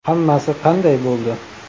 Hammasi qanday bo‘ldi?